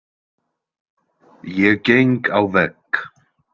Ég geng á vegg.